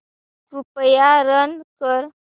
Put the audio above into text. कृपया रन कर